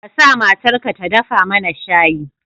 Ka sa matarka ta dafa mana shayi.